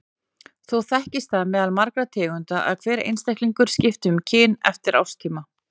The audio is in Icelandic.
Þó þekkist það meðal margra tegunda að hver einstaklingur skipti um kyn eftir árstíma.